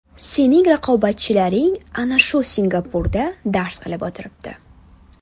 Sening raqobatchilaring ana shu Singapurda dars qilib o‘tiribdi.